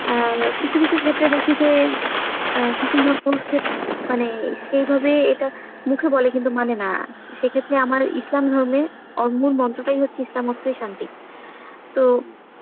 এর কিছু কিছু ক্ষেত্রে দেখি যে অ্যাঁ মানে সেই ভাবে এটা মুখে বলে কিন্তু মানে না, সে ক্ষেত্রে আমার ইসলাম ধর্মে ওর মূল মন্ত্রটাই হচ্ছে ইসলাম মতে শান্তি. তো